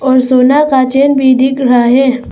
और सोना का चैन भी दिख रहा है।